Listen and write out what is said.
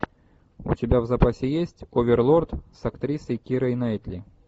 у тебя в запасе есть оверлорд с актрисой кирой найтли